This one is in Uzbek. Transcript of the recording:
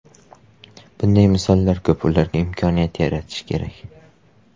Bunday misollar ko‘p va ularga imkoniyat yaratish kerak.